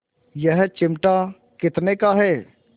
यह चिमटा कितने का है